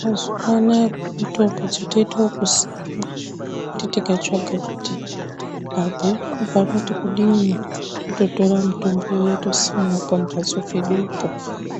Mazuwanaya kune mitombo dzotoite ekusimwa kuti tikatsvaga kuti kabhuku kanoti kudini tototorai mutombo uya totosimawo pamhatso pedupo